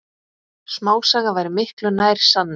Smásaga væri miklu nær sanni.